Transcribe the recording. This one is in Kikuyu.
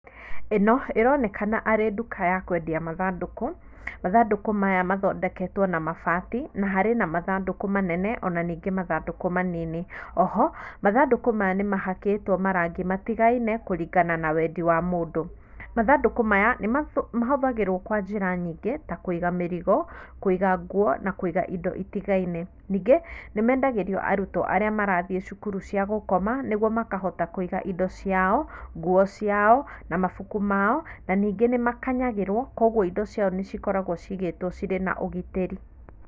Ĩno ĩronekana arĩ duka ya kwendia mathandũkũ, mathandũkũ maya mathondeketwo na mabati na harĩ na mathandũkũ manene ona ningĩ mathandũkũ manini, oho mathandũkũ maya nĩ mahakĩtwo marangi matigaine kũringana na wendi wa mũndũ. Mathandũkũ maya nĩ mahũthagĩrwo kwa njĩra nyingĩ ta kũiga mĩrigo, kũiga nguo na kũiga indo itigaine, ningĩ nĩmendagĩrio arutwo arĩa marathiĩ cukuru cia gũkoma nĩguo makohata kũiga indo ciao, nguo ciao na mabuku mao na ningĩ nĩ makanyagĩrwo kwoguo indo ciao nĩcikoragwo cigĩtwo na ũgitĩri.